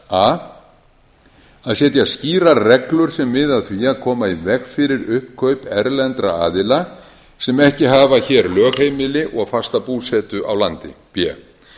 a að setja skýrar reglur sem miði að því að koma í veg fyrir uppkaup erlendra aðila sem ekki hafa hér lögheimili og fasta búsetu á landi b